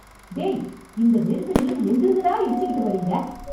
டேய்.. இந்த நெரிசலிலும் எங்கிருந்துடா இடிச்சுகிட்டு வரீங்க